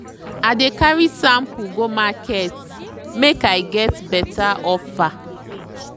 i dey carry sample go market make i get better offer.